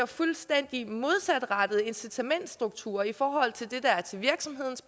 fuldstændig modsatrettet incitamentsstruktur i forhold til det der er til virksomhedens